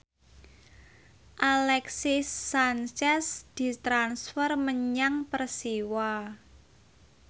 Alexis Sanchez ditransfer menyang Persiwa